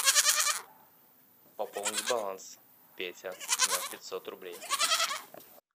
пополнить баланс петя на пятьсот рублей